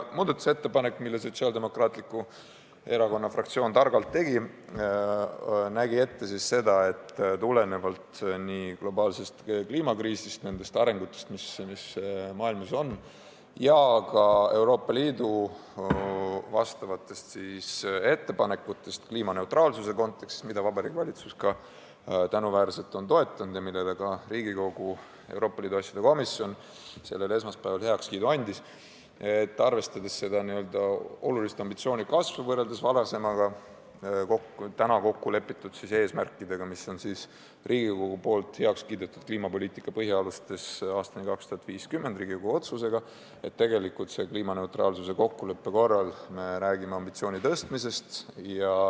Muudatusettepanek, mille Sotsiaaldemokraatliku Erakonna fraktsioon targalt tegi, nägi ette tulenevalt globaalsest kliimakriisist ja nendest arengusuundadest, mis maailmas on, samuti Euroopa Liidu ettepanekutest kliimaneutraalsuse kontekstis – mida Vabariigi Valitsus tänuväärselt on toetanud ja millele ka Riigikogu Euroopa Liidu asjade komisjon esmaspäeval heakskiidu andis –, et arvestades praeguseks kokku lepitud eesmärke, mis Riigikogu on heaks kiitnud kliimapoliitika põhialustes aastani 2050, me räägime kliimaneutraalsuse kokkuleppe korral ambitsiooni tõstmisest.